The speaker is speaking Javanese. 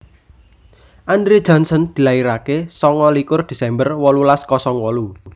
Andre Johnson dilairaké songo likur Desember wolulas kosong wolu